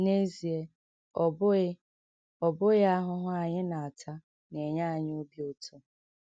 N’ezie, ọ bụghị ọ bụghị ahụhụ anyị na - ata na - enye anyị obi ụtọ.